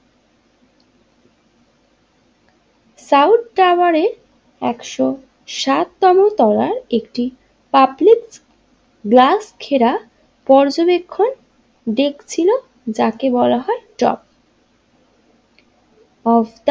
South টাওয়ারের একশো সাত তম তলায় একটি পাবলিক গ্লাস ঘেরা পর্যবেক্ষণ ডেক ছিল জেক বলা হয় ড্রপ অব।